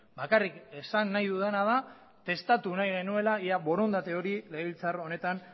bakarrik esan nahi dudana da testatu nahi genuela ea borondate hori legebiltzar honetan